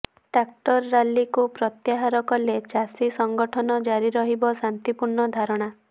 tractor ରାଲିକୁ ପ୍ରତ୍ୟାହାର କଲେ ଚାଷୀ ସଂଗଠନ ଜାରି ରହିବ ଶାନ୍ତିପୂର୍ଣ୍ଣ ଧାରଣା